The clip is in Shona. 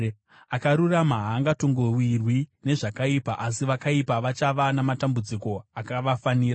Akarurama haangatongowirwi nezvakaipa, asi vakaipa vachava namatambudziko akavafanira.